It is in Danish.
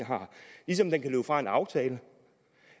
ligesom den kan løbe fra en aftale det